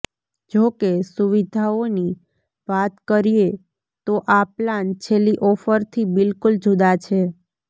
જો કે સુવિદ્યાઓની વાત કરીએ તો આ પ્લાન છેલ્લી ઓફરથી બિલકુલ જુદા છે